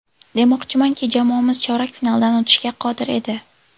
Demoqchimanki, jamoamiz chorak finaldan o‘tishga qodir edi.